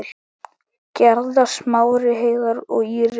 Gerða, Smári, Heiðar og Íris.